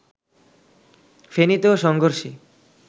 ফেনীতেও সংঘর্ষে